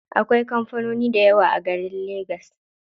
Akwai kampanoni dayawa a garin legas.